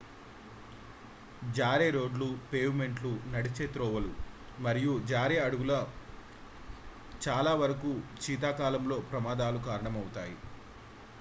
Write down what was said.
జారే రోడ్లు పేవ్మెంట్లు నడిచే త్రోవలు మరియు జారే అడుగులు చాలావరకూ శీతాకాలంలో ప్రమాదాలకు కారణమవుతాయి